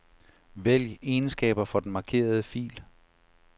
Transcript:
Vælg egenskaber for den markerede fil.